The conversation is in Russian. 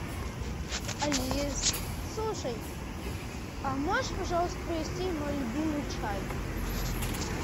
алис слушай а можешь пожалуйста привезти мой любимый чай